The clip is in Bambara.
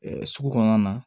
sugu kɔnɔna na